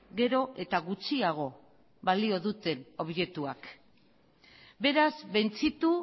gero eta gutxiago balio duten objektuek beraz bentzitu